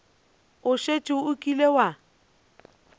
o šetše o kile wa